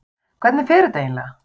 Hvernig fer þetta eiginlega?